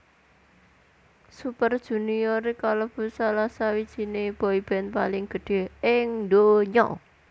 Super Junior kalebu salah sawijininé boyband paling gedhé ing ndonya